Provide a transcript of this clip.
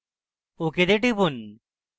ok তে টিপুন